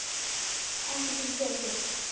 Ekki skyldi gefast upp.